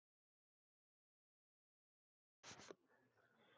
Sigrar hún samviskubitið?